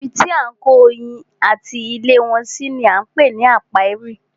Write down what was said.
Ibi tí à ń kó oyin ati ilé wọn si ni á ń pè ní ápíárì.